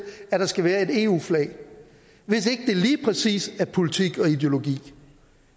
at der skal være et eu flag hvis ikke det lige præcis er politik og ideologi